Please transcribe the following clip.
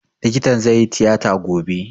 Likitan zai yi tiyata gobe